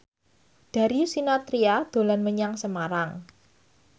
Darius Sinathrya dolan menyang Semarang